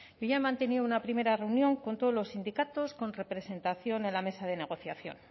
yo ya he mantenido una primera reunión con todos los sindicatos con representación en la mesa de negociación